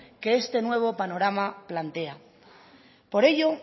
que este nuevo panorama plantea por ello